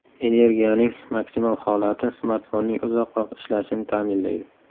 Energiyaning maksimal holati smartfonning uzoq vaqt ishlashini ta’minlaydi.